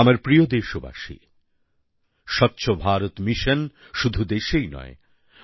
আমার প্রিয় দেশবাসী স্বচ্ছ ভারত মিশন শুধু দেশেই নয়